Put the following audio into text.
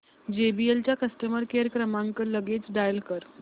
JBL चा customer care क्रमांक लगेच डायल कर